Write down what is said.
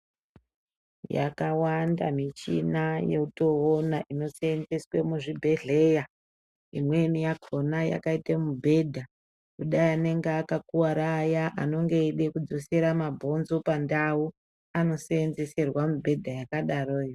Yakawanda michina yotoona inoseenzeswe muzvibhedhlera , imweni yakona yakaite mubhedha kudai anenge akakuwara Aya anenge eide kudzosere mabhonzo pandau anoseenzeserwa mibhedha yakadaroyo.